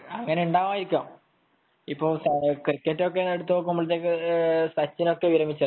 അങ്ങനെ ഉണ്ടായിരിക്കാം . ഇപ്പൊ ക്രിക്കറ്റ് എടുത്തു നോക്കുമ്പോൾ സച്ചിനൊക്കെ വിരമിച്ചല്ലോ